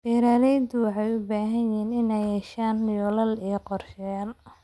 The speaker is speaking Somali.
Beeralayda waxay u baahan yihiin inay yeeshaan yoolal iyo qorshayaal.